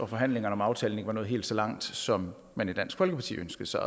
forhandlingerne om aftalen ikke var nået helt så langt som man i dansk folkeparti ønskede sig